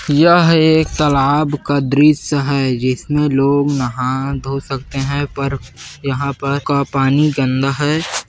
यह एक तालाब का दृश्य है जिस मे लोग नहा धो सकते है पर यहाँ पर का पानी गंदा है।